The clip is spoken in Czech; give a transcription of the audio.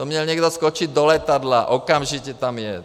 To měl někdo skočit do letadla, okamžitě tam jet!